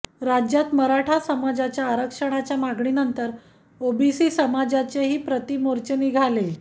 राज्यात मराठा समाजाच्या आरक्षणाच्या मागणीनंतर ओबीसी समाजाचे ही प्रतिमोर्चा निघाले